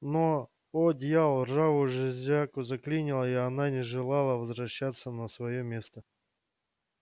но о дьявол ржавую железяку заклинило и она не желала возвращаться на своё место